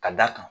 Ka d'a kan